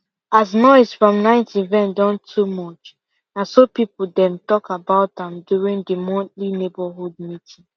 as noise from night event don too much na so people dem talk about am during the monthly neighborhood meeting